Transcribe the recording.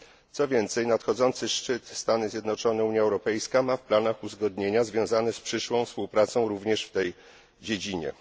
Co więcej, nadchodzący szczyt Stany Zjednoczone Unia Europejska ma w planach uzgodnienia związane z przyszłą współpracą również tej dziedzinie.